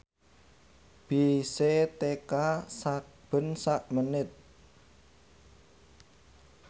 bise teka sakben sak menit